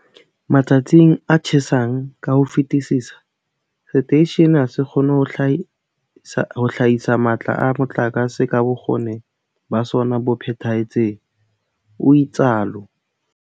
"Matsatsing a tjhesang ka ho fetisisa, seteishene ha se kgone ho hlahisa matla a motlakase ka bokgoni ba sona bo phethahetseng," o itsalo.